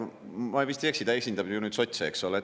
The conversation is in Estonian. Ma vist ei eksi, ta esindab nüüd ju sotse, eks ole.